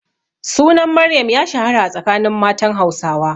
Sunan Maryam ya shahara a tsakanin matan Hausawa.